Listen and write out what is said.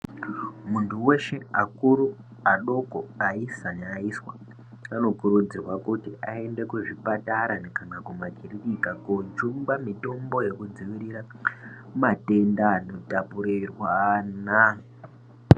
Muntu eshe akuru, adoko, aisa neaiswa anokurudzirwa kuti aende kuzvipatara kana nekumakirinika, kojungwa mitombo yekudzivirira matenda anotapurirwana.